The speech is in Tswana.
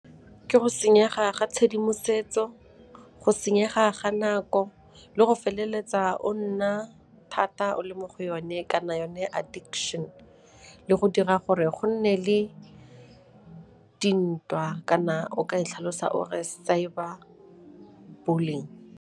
Ke go senyega ga tshedimosetso, go senyega ga nako le go feleletsa o nna thata o le mo go yone kana yone addiction le go dira gore go nne le dintwa kana o ka e tlhalosa o re cyber bullying.